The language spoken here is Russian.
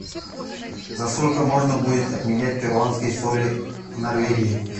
за сколько можно будет обменять перуанские соли в норвегии